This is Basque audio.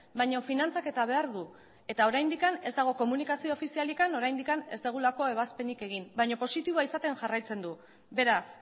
baina finantzaketa behar du eta oraindik ez dago komunikazio ofizialik oraindik ez dugulako ebazpenik egin baina positiboa izaten jarraitzen du beraz